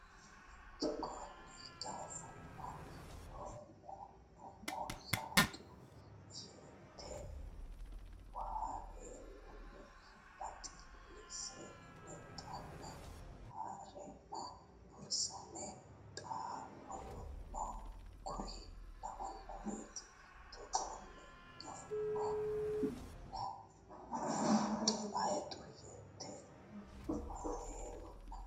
Togoonni gafumma hu mo hayxu yete waheelunna baxillise lexxanni ha reenna buurisame xaa woluno kuri lawannoreeti Togoonni gafumma hu mo hayxu yete waheelunna.